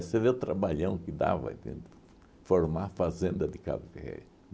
Você vê o trabalhão que dava, entende? Formar fazenda de café.